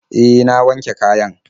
Eh, na wanke kayan.